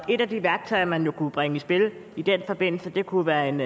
et af de værktøjer man kunne bringe i spil i den forbindelse kunne være en